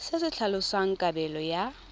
se se tlhalosang kabelo ya